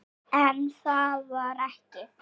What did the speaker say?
En það var ekki.